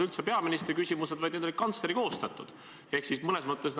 See kõik riivab inimeste õiglustunnet ega jäta head muljet kogu süsteemi õiglusest ja tasakaalustatusest.